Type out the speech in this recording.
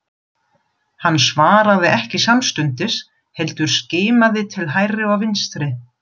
Hann svaraði ekki samstundis heldur skimaði til hægri og vinstri.